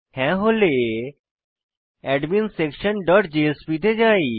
হ্যাঁ হলে adminsectionজেএসপি তে যাই